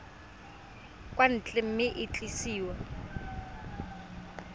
kwa ntle mme e tliswa